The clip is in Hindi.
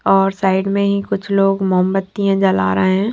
और साइड में ही कुछ लोग मोमबत्तीयां जला रहे हैं।